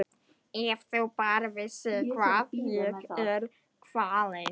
Ef þú bara vissir hvað ég er kvalinn.